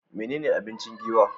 Menene abinci Giwa?